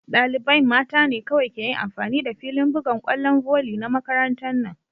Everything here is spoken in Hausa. Dalibain mta ne kowai ke yin amfani da filin bugan kwallon voli na makarantan na.